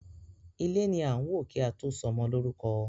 Ilé ni a n wo ki a to ṣọmọ lórúkọ.